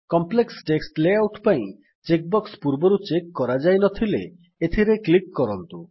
complex text layout ପାଇଁ check box ପୂର୍ବରୁ check କରାଯାଇନଥିଲେ ଏଥିରେ କ୍ଲିକ୍ କରନ୍ତୁ